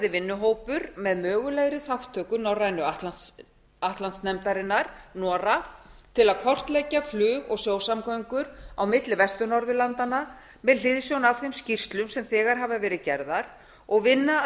vinnuhópur með mögulegri þátttöku norrænu atlantsnefndarinnar nora til að kortleggja flug og sjósamgöngur á milli vestur norðurlanda með hliðsjón af þeim skýrslum sem þegar hafa verið gerðar og vinna að